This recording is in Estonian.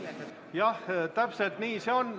Jah, täpselt nii see on.